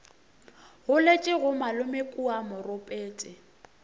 goletše ga malome kua moropetse